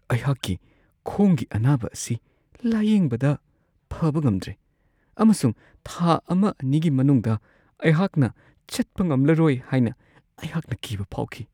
ꯑꯩꯍꯥꯛꯀꯤ ꯈꯣꯡꯒꯤ ꯑꯅꯥꯕ ꯑꯁꯤ ꯂꯥꯌꯦꯡꯕꯗ ꯐꯕ ꯉꯝꯗ꯭ꯔꯦ ꯑꯃꯁꯨꯡ ꯊꯥ ꯱-꯲ꯒꯤ ꯃꯅꯨꯡꯗ ꯑꯩꯍꯥꯛꯅ ꯆꯠꯄ ꯉꯝꯂꯔꯣꯏ ꯍꯥꯏꯅ ꯑꯩꯍꯥꯛꯅ ꯀꯤꯕ ꯐꯥꯎꯈꯤ ꯫